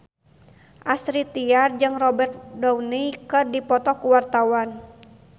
Astrid Tiar jeung Robert Downey keur dipoto ku wartawan